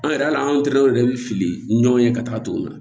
An yɛrɛ hali an terikɛw yɛrɛ bɛ fili ɲɔgɔn ye ka taa ton na